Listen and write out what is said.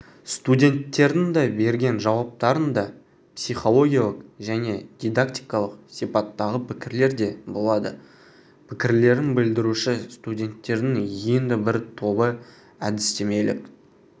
студенттердің берген жауаптарындапсихологиялық және дидактикалық сипаттағы пікірлер де болады пікірлерін білдіруші студенттердің енді бір тобы әдістемелік